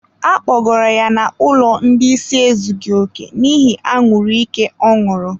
Akpọgoro ya n'ụlọ ndị ịsị ezughi oke n'ihi anwuru ike ọ ṅụrụ.